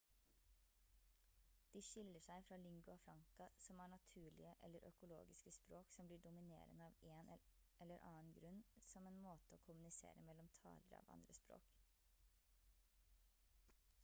de skiller seg fra lingua franca som er naturlige eller økologiske språk som blir dominerende av én eller annen grunn som en måte å kommunisere mellom talere av andre språk